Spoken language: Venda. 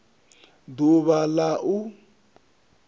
d uvha l a u